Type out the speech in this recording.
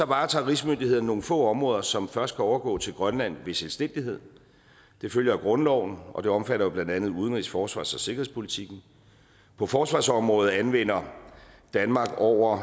varetager rigsmyndighederne nogle få områder som først kan overgå til grønland ved selvstændighed det følger af grundloven og det omfatter jo blandt andet udenrigs forsvars og sikkerhedspolitikken på forsvarsområdet anvender danmark over